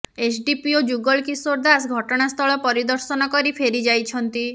SDPO Jugal Kishore Das ଘଟଣାସ୍ଥଳ ପରିଦର୍ଶନ କରି ଫେରି ଯାଇଛନ୍ତି